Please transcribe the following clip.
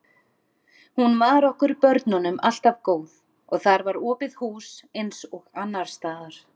Hún var okkur börnunum alltaf góð og þar var opið hús eins og annars staðar.